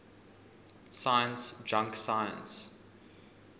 science junk science